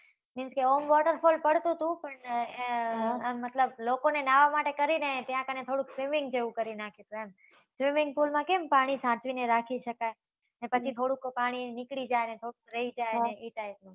means કે, આમ waterfall પડતુ હતુ પણ, મતલબ લોકોને ન્હાવા માટે કરીને ત્યાં કને થોડું swimming જેવુ કરી નાખ્યું હતું એમ. swimming pool માં કેમ પાણી સાચવીને રાખી શકાય. ને પછી થોડુંક પાણી નીકળી જાય અને થોડુંક રઈ જાય ઈ type નું